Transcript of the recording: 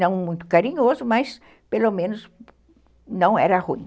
Não muito carinhoso, mas, pelo menos, não era ruim.